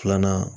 Filanan